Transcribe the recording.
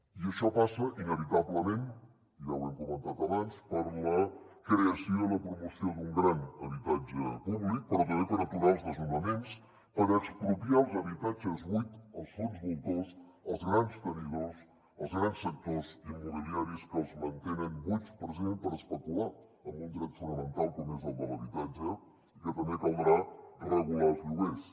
i això passa inevitablement ja ho hem comentat abans per la creació i la promoció d’un gran habitatge públic però també per aturar els desnonaments per expropiar els habitatges buits als fons voltors als grans tenidors als grans sectors immobiliaris que els mantenen buits precisament per especular amb un dret fonamental com és el de l’habitatge i que també caldrà regular els lloguers